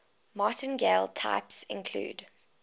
martingale types include